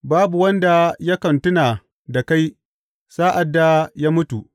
Babu wanda yakan tuna da kai sa’ad da ya mutu.